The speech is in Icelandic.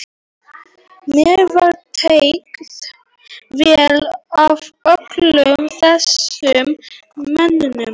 Mér var tekið vel af öllum þessum mönnum.